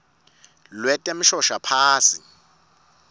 lwetemshoshaphasi